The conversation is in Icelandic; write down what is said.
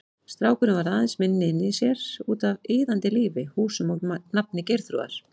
Strákurinn varð aðeins minni inni í sér, útaf iðandi lífi, húsum og nafni Geirþrúðar.